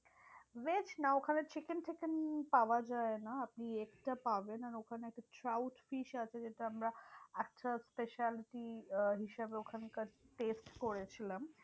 Veg না ওখানে chicken ফিকেন পাওয়া যায় না। আপনি extra পাবেন। আর ওখানে চাউড fish আছে যেটা আমরা একটা speciality আহ হিসেবে ওখানকার test করেছিলাম।